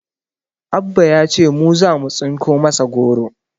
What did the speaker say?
Abba ya ce mu zamu tsinko masa goro